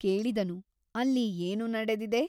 ಕೇಳಿದನು ಅಲ್ಲಿ ಏನು ನಡೆದಿದೆ ?